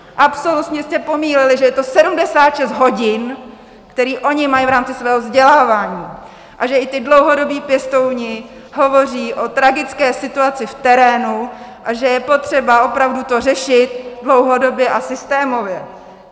Absolutně jste pominuli, že je to 76 hodin, které oni mají v rámci svého vzdělávání, a že i ti dlouhodobí pěstouni hovoří o tragické situaci v terénu a že je potřeba opravdu to řešit dlouhodobě a systémově.